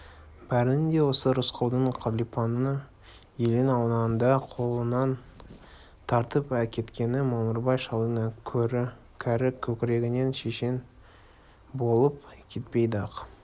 бәрінен де осы рысқұлдың қалипаны елең-алаңда қолынан тартып әкеткені мамырбай шалдың кәрі көкірегінен шемен болып кетпейді-ақ